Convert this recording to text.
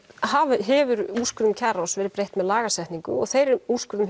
hefur úrskurðum kjararáðs verið breytt með lagasetningu og þeim úrskurðum